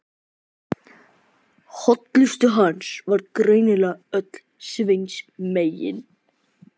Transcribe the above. Hollusta hans var greinilega öll Sveins megin.